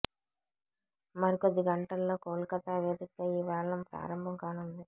మరికొద్ది గంటల్లో కోల్కతా వేదికగా ఈ వేలం ప్రారంభం కానుంది